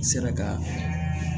N sera ka